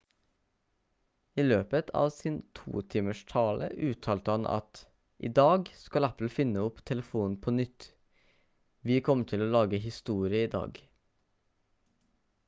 i løpet av sin 2 timers tale uttalte han at «i dag skal apple finne opp telefonen på nytt vi kommer til å lage historie i dag»